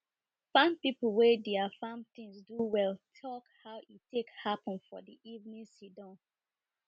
farm people wey dier farm things do well talk how e take happen for the evening sidon